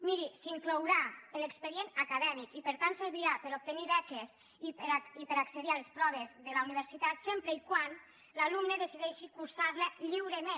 miri s’inclourà en l’expedient acadèmic i per tant servirà per obtenir beques i per accedir a les proves de la universitat sempre que l’alumne decideixi cursar la lliurement